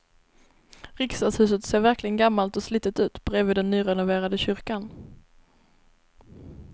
Riksdagshuset ser verkligen gammalt och slitet ut bredvid den nyrenoverade kyrkan.